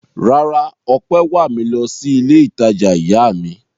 Rárá, Ọpẹ́ wà mí lọ sí ilé-ìtajà ìyá mi.